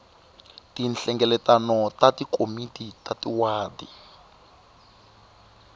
tinhlengeletano ta tikomiti ta tiwadi